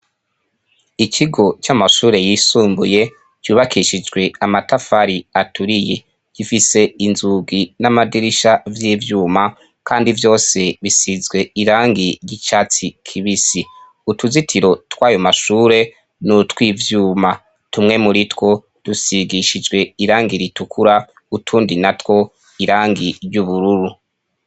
Ikigo c'amashure yisumbuye vyubakishijwe amatafari aturiye gifise inzugi n'amadirisha vy'ivyuma, kandi vyose bisizwe irangi gicatsi kibisi, utuzitiro twayumashure ni utwivyuma, tumwe muri two dusigishijwe irangi ritukura utundi na two irangi ry'ubururu.